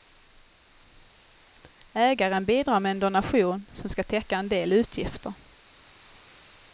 Ägaren bidrar med en donation som ska täcka en del utgifter.